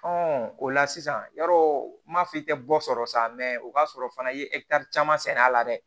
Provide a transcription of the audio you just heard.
o la sisan yɔrɔ f'i tɛ bɔ sɔrɔ sa o ka sɔrɔ fana i ye caman sɛnɛ a la dɛ